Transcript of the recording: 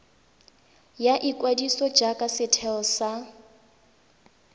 ya ikwadiso jaaka setheo sa